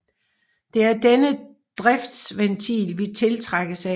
Det er denne driftsventil vi tiltrækkes af